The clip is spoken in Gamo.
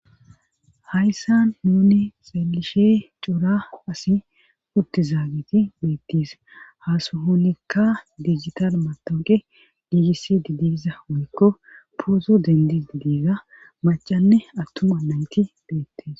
Hayssan nuni xeelishe cora asi utti zaagiti beettiis hasuhonikka digital matooqe digisi didiiza woykko poozu dendii diiza macanne attuma nayti beettis.